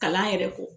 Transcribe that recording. Kalan yɛrɛ kɔ